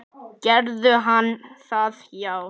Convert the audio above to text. Gerði hann það já?